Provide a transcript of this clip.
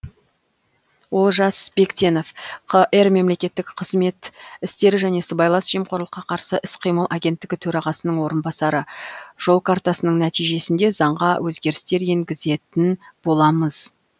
олжас бектенов қр мемлекеттік қызмет істері және сыбайлас жемқорлыққа қарсы іс қимыл агенттігі төрағасының орынбасары жол картасының нәтижесінде заңға өзгерістер енгізетін боламыз